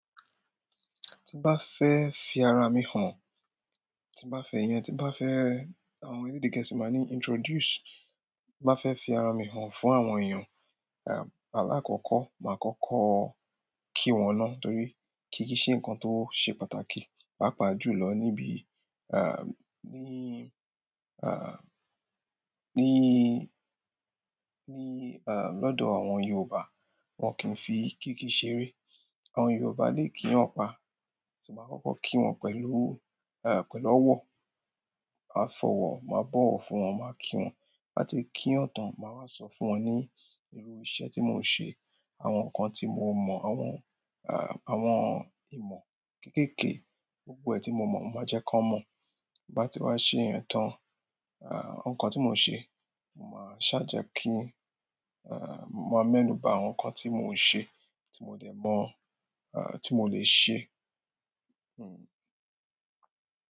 Tí bá fẹ́ fi ara mi hàn, tí bá fẹ́ iyẹn, tí bá fẹ́ àwọn ẹlẹ́dẹ geesí máa ní introduce, ti bá fẹ́ fi ara mi hàn fún àwọn èèyàn, ah, àlàkókò, máa kọ́kọ́ kí wọn na. Nítorí kìkí ṣe nǹkan tó ṣe pàtàkì. Pàápàá jù lọ níbi, ah, ní, ah, ní, ní, ah, lọ́dọ̀ àwọn Yorùbá. Wọn kì í fi kíki ṣeré. Àwọn Yorùbá lè kíyan pá. Ti ba kọ́kọ́ kí wọn pẹ̀lú, eh, pẹ̀lú ọwọ́. Màá fọwọ́, màá bọ̀wọ́ fún wọn, màá kí wọn. Ti ba ti kiyan tan, maa wa so fún won ni iru iṣẹ́ ti mo n se, àwọn nǹkan ti mo mo, àwọn ah, àwọn ìmọ̀ kekeke, gbogbo e ti mo mo, mo maa je kon mo ti bá ti wá ṣe yẹn tán, ah, nǹkan tí mò ń ṣe, máa ṣàa jẹ́ kí, eh, máa mẹ́nu bà àwọn nǹkan tí mò ń ṣe, tí mo dẹ̀ mọ̀, ah, tí mo le ṣe. Hmm.